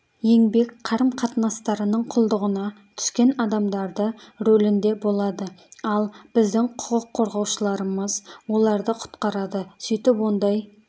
еңбек қарым-қатынастарының құлдығына түскен адамдарды рөлінде болады ал біздің құқық қорғаушыларымыз оларды құтқарады сөйтіп ондай